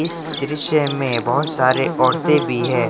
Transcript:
इस दृश्य में बहुत सारे औरतें भी है।